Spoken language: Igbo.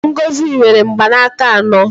Ngozi nwere mgbanaka anọ